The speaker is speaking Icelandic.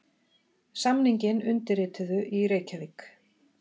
Samninginn undirrituðu í Reykjavík